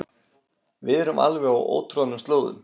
Við erum á alveg ótroðnum slóðum